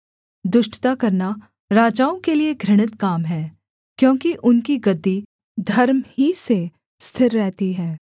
दुष्टता करना राजाओं के लिये घृणित काम है क्योंकि उनकी गद्दी धर्म ही से स्थिर रहती है